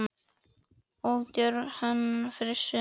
Of djörf hönnun fyrir suma?